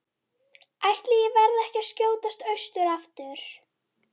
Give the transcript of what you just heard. Ætli ég verði ekki að skjótast austur aftur.